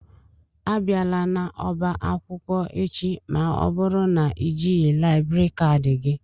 Abiana n'ọba akwụkwọ echi ma ọ bụrụ na ị jighị laịbrị kadi gị!